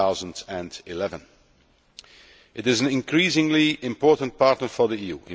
2011. It is an increasingly important partner for the EU.